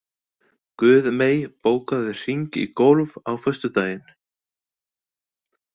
Guðmey, bókaðu hring í golf á föstudaginn.